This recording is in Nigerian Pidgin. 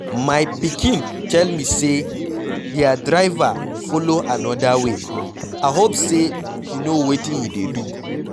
My pikin tell me say their driver follow another way, I hope say he no wetin he dey do.